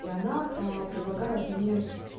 и она а предлагает мне